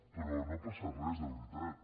però no passa res de veritat